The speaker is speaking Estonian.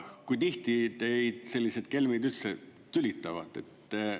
Kui tihti teid sellised kelmid üldse tülitavad?